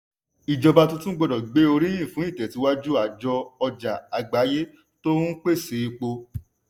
ìjọba tuntun gbọ́dọ̀ gbé oríyìn fún ìtẹ̀síwájú àjọ ọjà àgbáyé tó n pèsè epo.